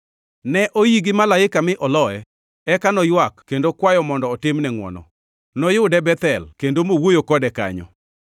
Ne oii gi malaika mi oloye; eka noywak kendo kwayo mondo otimne ngʼwono. Noyude Bethel kendo mowuoyo kode kanyo.